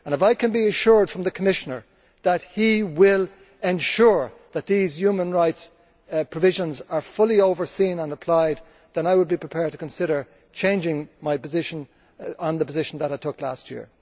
If I can be assured by the Commissioner that he will ensure that these human rights provisions are fully overseen and applied, then I would be prepared to consider changing my position from the one I took last year.